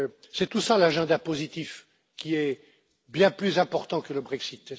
C'est tout cela l'agenda positif, qui est bien plus important que le Brexit.